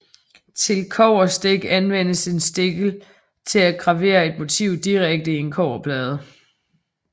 Til kobberstik anvendes en stikkel til at gravere et motiv direkte i en kobberplade